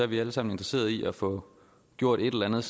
vi alle sammen interesseret i at få gjort et eller andet